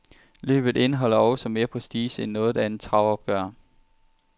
Løbet indeholder også mere prestige end noget andet travopgør.